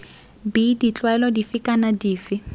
b ditlwaelo dife kana dife